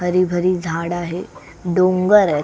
हरी भरी झाड आहे डोंगर अय--